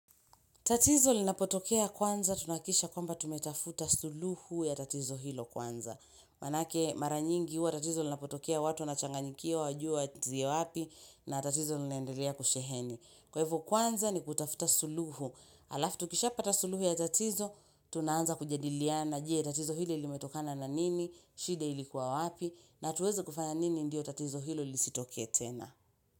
Tatizo linapotokea kwanza, tunahakikisha kwamba tumetafuta suluhu ya tatizo hilo kwanza. Manake mara nyingi huwa tatizo linapotokea watu wanachanganyikiwa hawajui waanzie wapi na tatizo linaendelea kusheheni. Kwa hivo kwanza ni kutafuta suluhu. Alafu tukishapata suluhu ya tatizo, tunaanza kujadiliana. Je, tatizo hili ilimetokana na nini, shida ilikuwa wapi, na tuweze kufanya nini ndio tatizo hilo lisitokee tena.